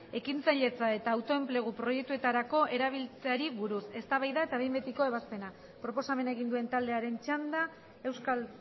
ekintzailetza eta autoenplegu proiektuetarako erabiltzeari buruz eztabaida eta behin betiko ebazpena proposamena egin duen taldearen txanda euskal